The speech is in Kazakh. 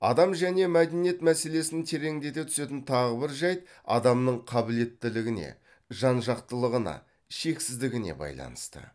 адам және мәдениет мәселесін тереңдете түсетін тағы бір жайт адамның қабілеттілігіне жан жақтылығына шексіздігіне байланысты